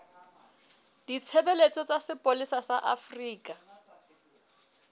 ditshebeletso tsa sepolesa sa afrika